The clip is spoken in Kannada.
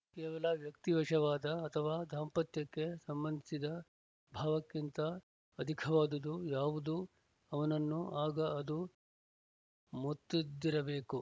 ಕೇವಲ ವ್ಯಕ್ತಿವಶವಾದ ಅಥವಾ ದಾಂಪತ್ಯಕ್ಕೆ ಸಂಬಂಧಿಸಿದ ಭಾವಕ್ಕಿಂತ ಅಧಿಕವಾದುದು ಯಾವುದೊ ಅವನನ್ನು ಆಗ ಅದು ಮುತ್ತಿದ್ದಿರಬೇಕು